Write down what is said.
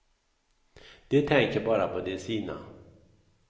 De tänker bara på de sina.